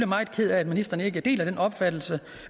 meget ked af at ministeren ikke deler den opfattelse